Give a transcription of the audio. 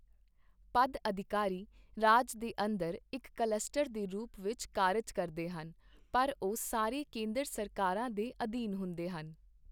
ਪਦਅਧਿਕਾਰੀ ਰਾਜ ਦੇ ਅੰਦਰ ਇੱਕ ਕਲੱਸਟਰ ਦੇ ਰੂਪ ਵਿੱਚ ਕਾਰਜ ਕਰਦੇ ਹਨ ਪਰ ਉਹ ਸਾਰੇ ਕੇਂਦਰ ਸਰਕਾਰ ਦੇ ਅਧੀਨ ਹੁੰਦੇ ਹਨ।